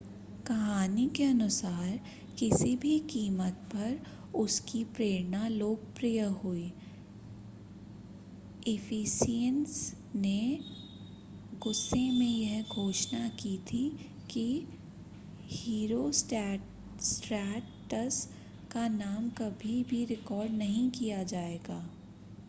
कहानी के अनुसार किसी भी कीमत पर उसकी प्रेरणा लोकप्रिय हुई इफ़ेसियन्स ने गुस्से में यह घोषणा की थी कि हीरोस्ट्रैटस का नाम कभी-भी रिकॉर्ड नहीं किया जाएगा